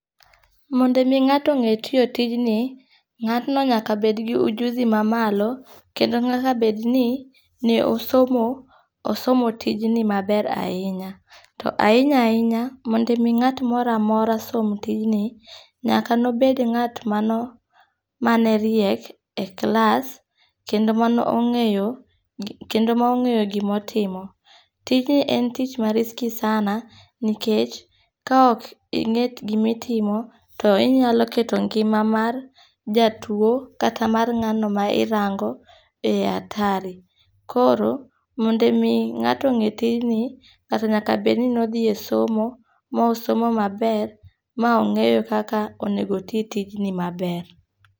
Mondo mi ngato nge tiyo tinji, nga'tno nyaka bedni ujuzi mamalo, kendo nyaka bed ni ne osomo osomo tijni maber ahinya, to ahinya hinya, mondo mi nga'to mora mora somo tijni, nyaka ne obed nga't mane riek e class kendo mane ongeyo kendo ma ongeyo gimatimo, tijni en tich ma risky sana nikech ka ok inge'yo gima itimo to inyalo keto ngima mar jatuo kata mar ngano ma irango e hatari koro mondo mi nga'to onge' tijni nga'to nyaka bed ni ne othie somo mosomo maber ma ongeyo kaka onego ti tijni maber.